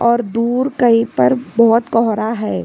और दूर कही पर बहोत कोहरा है।